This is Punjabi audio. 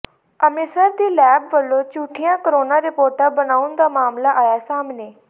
ਅੰਮ੍ਰਿਤਸਰ ਦੀ ਲੈਬ ਵੱਲੋਂ ਝੂਠੀਆਂ ਕੋਰੋਨਾ ਰਿਪੋਰਟਾਂ ਬਣਾਉਣ ਦਾ ਮਾਮਲਾ ਆਇਆ ਸਾਹਮਣੇ